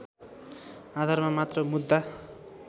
आधारमा मात्र मुद्दा